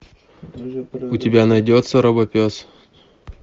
у тебя найдется робопес